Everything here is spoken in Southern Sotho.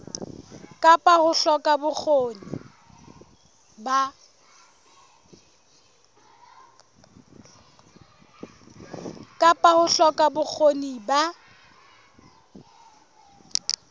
kapa ho hloka bokgoni ba